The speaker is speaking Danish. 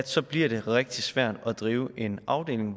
så bliver det rigtig svært at drive en afdeling